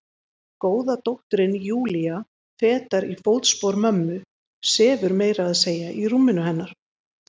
Góða dóttirin Júlía, fetar í fótspor mömmu, sefur meira að segja í rúminu hennar.